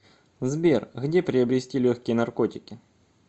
сбер где приобрести легкие наркотики